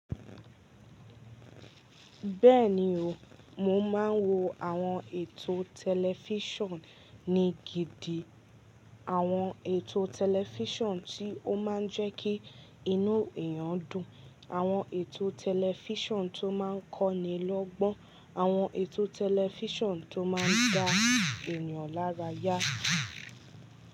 Bẹ́ẹ̀ni o, mo máa wo àwọn ètò tẹlifísàn ni gidi. Àwọn ètò tẹlifísàn tí ó máa ń jẹ́ kí inú èyàn dùn, àwọn ètò tẹlifísàn tó máa ń kọ́ni lọ́gbọ́n, àwọn ètò tẹlifísàn tó máa ń gba ènìyàn lára yá.